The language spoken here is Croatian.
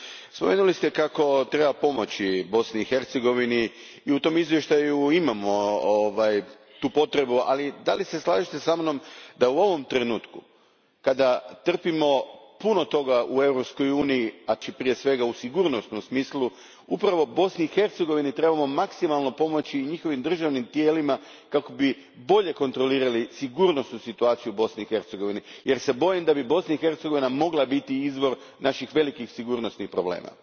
Spomenuli ste kako treba pomoći Bosni i Hercegovini, i u izvještaju se navodi ta potreba, ali da li se slažete sa mnom da, u ovom trenutku, kada trpimo puno toga u Europskoj uniji, prije svega u sigurnosnom smislu, upravo Bosni i Hercegovini trebamo maksimalno pomoći i njihovim državnim tijelima kako bi bolje kontrolirali sigurnosnu situaciju u Bosni i Hercegovini jer se bojim da bi Bosna i Hercegovina mogla biti izvor naših velikih sigurnosnih problema?